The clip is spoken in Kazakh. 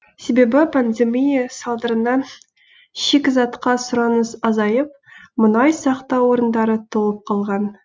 себебі пандемия салдарынан шикізатқа сұраныс азайып мұнай сақтау орындары толып қалған